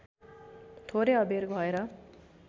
थोरै अबेर भएर